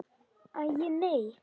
Æi, nei.